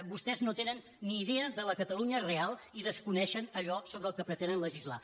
vostès no tenen ni idea de la catalunya real i desconeixen allò sobre el que pretenen legislar